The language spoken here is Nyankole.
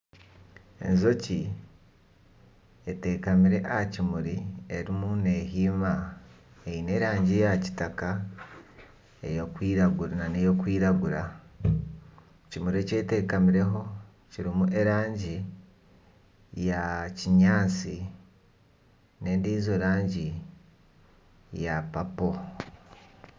Enjoki etekamire aha kimuri erimu nehiima. Eine erangi ya kitaka nana erikwiragura. Ekimuri ekyetekamireho kirimu erangi eya kinyaatsi n'endijo rangi eya papo.